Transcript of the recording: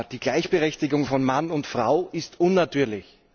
Die Gleichberechtigung von Mann und Frau ist unnatürlich.